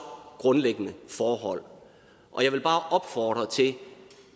grundlæggende forhold og jeg vil bare opfordre til